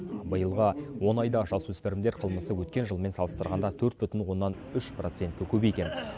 биылғы он айда жасөспірімдер қылмысы өткен жылмен салыстырғанда төрт бүтін оннан үш процентке көбейген